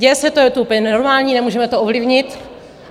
Děje se to, je to úplně normální, nemůžeme to ovlivnit.